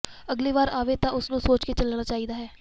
ਅਗਲੀ ਵਾਰ ਆਵੇ ਤਾਂ ਉਸ ਨੂੰ ਸੋਚ ਕੇ ਚੱਲਣਾ ਚਾਹੀਦਾ ਹੈ